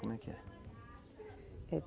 Como é que é?